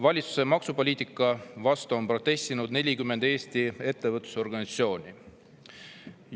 Valitsuse maksupoliitika vastu on protestinud 40 Eesti ettevõtlusorganisatsiooni.